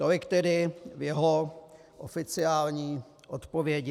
Tolik tedy v jeho oficiální odpovědi.